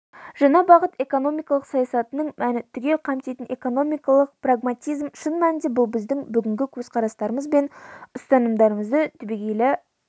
жаңа бағыт экономикалық саясатының мәні түгел қамтитын экономикалық прагматизм шын мәнінде бұл біздің бүгінгі көзқарастарымыз бен ұстанымдарымызды түбегейлі